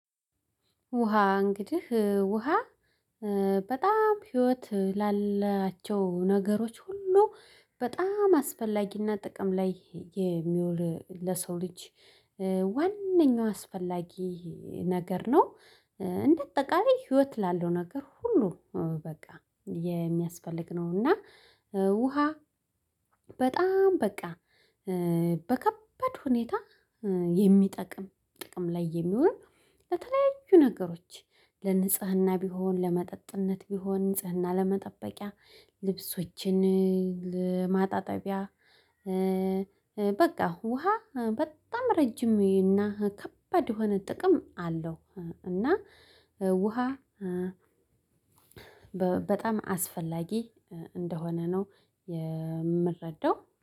ውሃ እንግድህ ውሃ በጣም ህይወት ላላቸው ነገሮች ሁሉ በጣም አስፈላጊና ጥቅም ላይ የሚውል ለሰው ልጅ ዋነኛው አስፈላጊ ነገር ነው። እንደ አጠቃላይ ህይወት ላለው ነገር ሁሉ በቃ የሚያስፈልግ ነውና። ውሃ በጣም በቃ በከበድ ሁኔታ የሚጠቅም ጥቅም ላይ የሚውል። ለተለያዩ ነገሮች ለንጽህና ቢሆን ለመጠጥነት ቢሆን ንጽህና ለመጠበቂያ ልብሶችን ለማጣጠቢያ በቃ ውሃ በጣም ረጅም እና ከባድ የሆነ ጥቅም አለው። እና ውሃ በጣም አስፈላጊ እንደሆነ ነው። የምረዳው